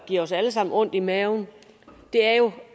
giver os alle sammen ondt i maven er jo